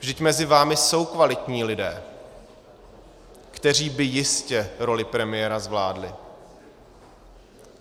Vždyť mezi vámi jsou kvalitní lidé, kteří by jistě roli premiéra zvládli.